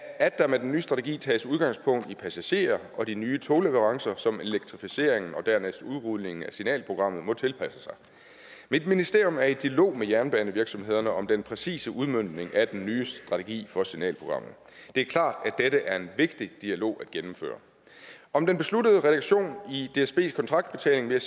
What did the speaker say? at der med den nye strategi tages udgangspunkt i passagerer og de nye togleverancer som elektrificeringen og dernæst udrulningen af signalprogrammet må tilpasse sig mit ministerium er i dialog med jernbanevirksomhederne om den præcise udmøntning af den nye strategi for signalprogrammet det er klart at dette er en vigtig dialog at gennemføre om den besluttede reduktion i dsbs kontraktbetaling vil